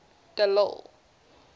de lille